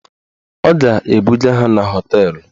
Ọ ga-ebuga ha na họteelụ.